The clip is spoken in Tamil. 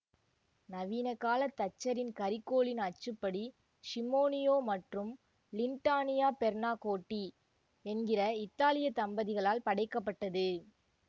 நவீனக்கால தச்சரின் கரிக்கோலின் அச்சுப்படி ஸிமோனியோ மற்றும் லிண்டானியா பெர்னாக்கோட்டி என்கிற இத்தாலியத் தம்பதிகளால் படைக்க பட்டது